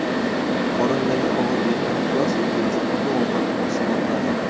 Qorindagi og‘irlikdan xalos etuvchi oziq-ovqat mahsulotlari.